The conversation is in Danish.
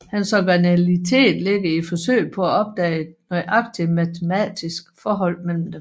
Hans originalitet ligger i forsøget på at opdage et nøjagtig matematisk forhold mellem dem